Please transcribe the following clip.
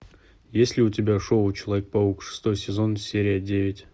есть ли у тебя шоу человек паук шестой сезон серия девять